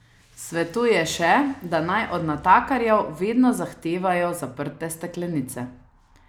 Svetuje še, da naj od natakarjev vedno zahtevajo zaprte steklenice.